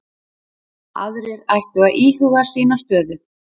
Aðrir ættu að íhuga sína stöðu